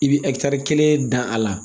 I bɛ kelen dan a la